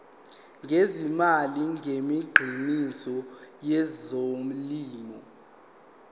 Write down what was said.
ngezimali ngemikhiqizo yezolimo